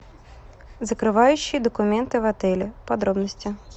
закрывающие документы в отеле подробности